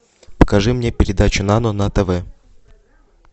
покажи мне передачу нано на тв